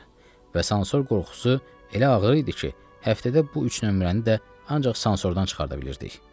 Və sansor qorxusu elə ağır idi ki, həftədə bu üç nömrəni də ancaq sansordan çıxarda bilirdik.